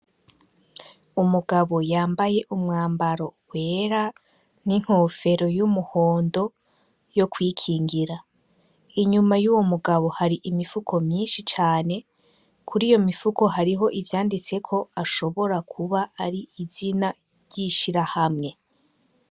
Umugabo yambaye umwambaro wera n'inkofero y'umuhondo yo kwikingira inyuma y'uwo mugabo hari imifuko myinshi cane kuri iyo mifuko hariho ivyanditseko ashobora kuba ari izina ryishira hamwe.